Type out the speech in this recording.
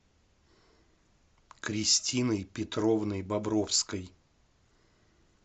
кристиной петровной бобровской